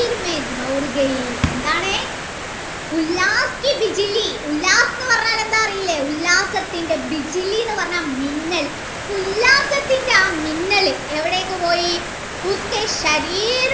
എന്താണ് എന്ന് പറഞ്ഞാൽ അറീലെ ഉല്ലാസത്തിൻ്റെ എന്ന് പറഞ്ഞാൽ മിന്നൽ ഉഉല്ലാസത്തിൻ്റെ ആ മിന്നൽ എവിടേക്ക് പോയി